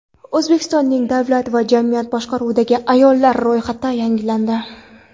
O‘zbekistonning davlat va jamiyat boshqaruvidagi ayollar ro‘yxati yangilandi.